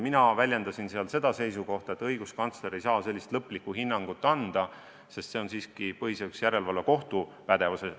Mina väljendasin siis seisukohta, et õiguskantsler ei saa sellist lõplikku hinnangut anda, see on siiski põhiseaduslikkuse järelevalve kohtu pädevuses.